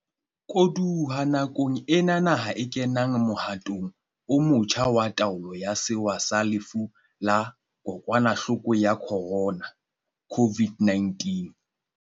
Koduwa nakong ena naha e kenang mohatong o motjha wa taolo ya sewa sa lefu la Kokwanahloko ya Khorona, COVID-19.